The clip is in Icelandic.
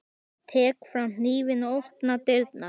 Ég tek fram hnífinn og opna dyrnar.